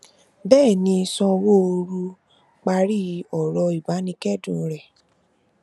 bẹẹ ni sanwóoru parí ọrọ ìbánikẹdùn rẹ